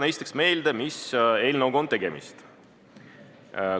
Esiteks tuletan meelde, mis eelnõuga on tegemist.